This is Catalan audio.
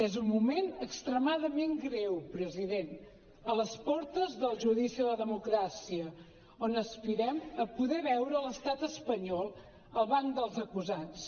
és un moment extremadament greu president a les portes del judici a la democràcia on aspirem a poder veure l’estat espanyol al banc dels acusats